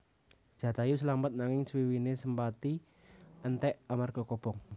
Jatayu slamet nanging swiwiné Sempati entèk amarga kobong